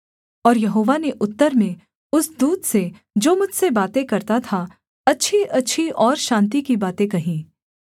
और यहोवा ने उत्तर में उस दूत से जो मुझसे बातें करता था अच्छीअच्छी और शान्ति की बातें कहीं